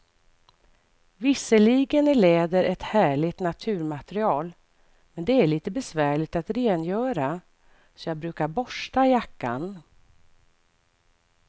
Visserligen är läder ett härligt naturmaterial, men det är lite besvärligt att rengöra, så jag brukar borsta jackan.